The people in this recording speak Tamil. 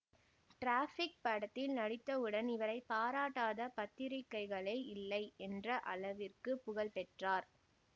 டிராஃபிக் படத்தில் நடித்தவுடன் இவரை பாராட்டாத பத்திரிகைகளே இல்லை என்ற அளவிற்கு புகழ்பெற்றார்